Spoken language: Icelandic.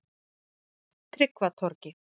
Tryggvatorgi